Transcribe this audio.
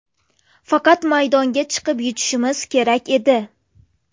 Faqat maydonga chiqib yutishimiz kerak edi.